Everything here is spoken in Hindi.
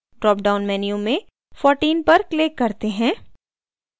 ड्रॉपडाउन menu में 14 पर click करते हैं